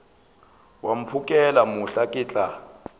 wa mphokela mohla ke tla